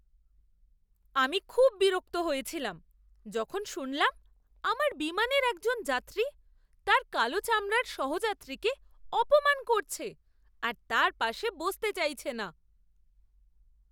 আমি খুব বিরক্ত হয়েছিলাম যখন শুনলাম আমার বিমানের একজন যাত্রী তার কালো চামড়ার সহযাত্রীকে অপমান করছে আর তার পাশে বসতে চাইছে না।